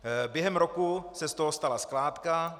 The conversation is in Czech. Během roku se z toho stala skládka.